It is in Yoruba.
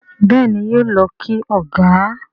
Béèni yóò ló kí ọgá.